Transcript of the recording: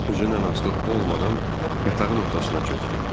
Özündən asılı olmadan yatağın ortasına çökdü.